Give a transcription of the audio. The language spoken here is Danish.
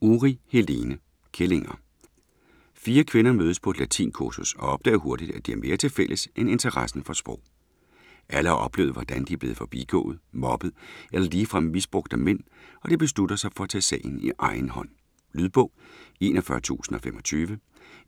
Uri, Helene: Kællinger 4 kvinder mødes på et latinkursus og opdager hurtigt at de har mere til fælles end interessen for sprog. Alle har oplevet hvordan de er blevet forbigået, mobbet eller ligefrem misbrugt af mænd, og de beslutter sig for at tage sagen i egen hånd. Lydbog 41025